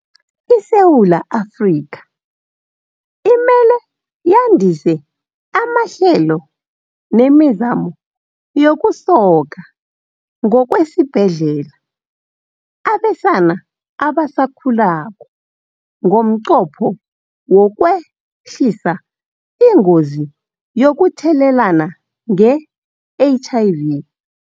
ISewula Afrika imele yandise amahlelo nemizamo yokusoka ngokwesibhedlela abesana abasakhulako ngomnqopho wokwe-hlisa ingozi yokuthelelana nge-HIV.